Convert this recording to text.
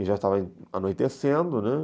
E já estava anoitecendo, né?